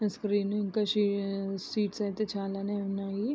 Screen ఇంకా సి seats అయితే చాలానే ఉన్నాయి.